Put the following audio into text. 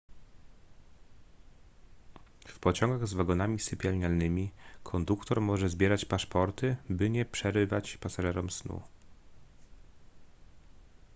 w pociągach z wagonami sypialnymi konduktor może zbierać paszporty by nie przerywać pasażerom snu